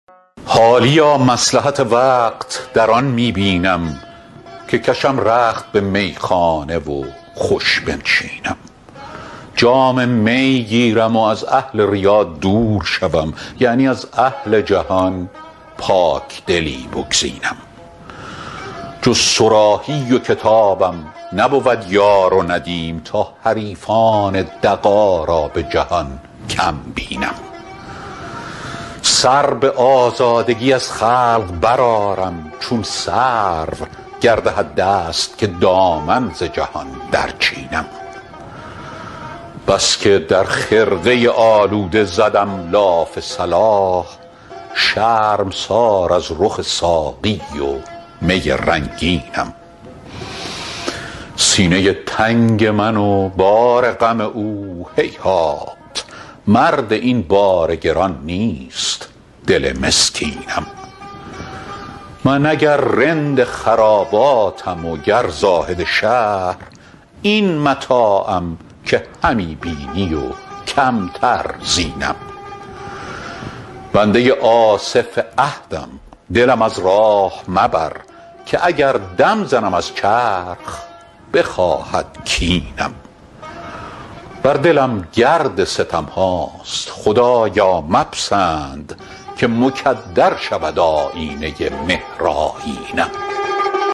حالیا مصلحت وقت در آن می بینم که کشم رخت به میخانه و خوش بنشینم جام می گیرم و از اهل ریا دور شوم یعنی از اهل جهان پاکدلی بگزینم جز صراحی و کتابم نبود یار و ندیم تا حریفان دغا را به جهان کم بینم سر به آزادگی از خلق برآرم چون سرو گر دهد دست که دامن ز جهان درچینم بس که در خرقه آلوده زدم لاف صلاح شرمسار از رخ ساقی و می رنگینم سینه تنگ من و بار غم او هیهات مرد این بار گران نیست دل مسکینم من اگر رند خراباتم و گر زاهد شهر این متاعم که همی بینی و کمتر زینم بنده آصف عهدم دلم از راه مبر که اگر دم زنم از چرخ بخواهد کینم بر دلم گرد ستم هاست خدایا مپسند که مکدر شود آیینه مهرآیینم